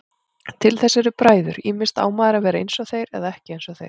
Til þess eru bræður, ýmist á maður að vera einsog þeir eða ekki einsog þeir.